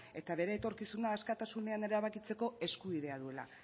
eta bere etorkizuna askatasunean erabakitzeko eskubidea duela